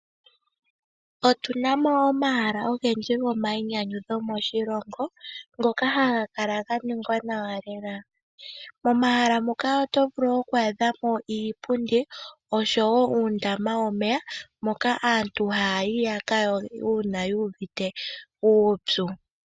Otu na mo omahala ogendji gomainyanyudho moshilongo ngoka haga kala ganingwa nawa lela, momahala moka oto vulu oku adha mo iipundi osho wo uundama womeya moka aantu hayayi yaka yoge uuna yuuvite uupyu.